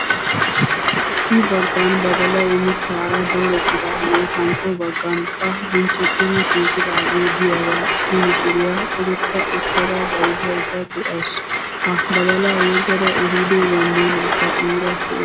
Issi baggaan badalayi mittaara doorettidaagee, hankko baggaan qa bunchchetti shiiqidaagee diyaaga issi mishiriyaa cogochcha uttada bayizzayidda de'awusu. Ha badalaa yeggada ehiido zambbiileekka iira des.